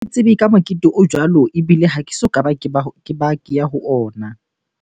Ke tsebe ka mokete o jwalo ebile ha ke soka ke ba ke ya ho ona.